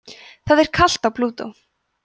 það er kalt á plútó